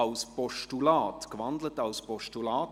– Das ist der Fall.